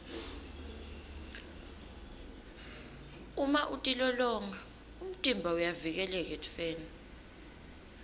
uma utilolonga umtimba uyavikeleka etifeni